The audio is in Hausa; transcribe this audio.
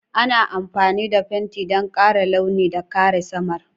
Ana amfani da fenti don ƙara launi da kare saman.